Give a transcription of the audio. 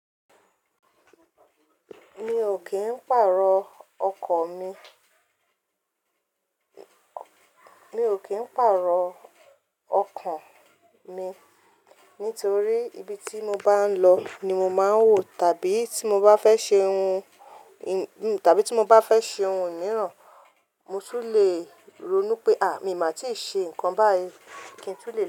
Mi ò kí ń pàrọ̀o ọkọ̀ mi, mi ò kí ń pàrọ̀o ọkan mi nítorí ibi tí mo bá ń lọ ni mo máa ń wò, tàbí tí mo bá fẹ́ ṣe ohun, tàbí tí mo bá fẹ́ ṣe ohun míìràn, mo tún le ronú pé à mí máa tí ì ṣe nǹkan báyìí kí n tún lè.